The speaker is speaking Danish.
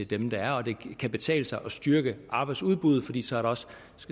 dem der er og det kan betale sig at styrke arbejdsudbuddet fordi man så også